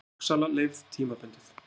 Torgsala leyfð tímabundið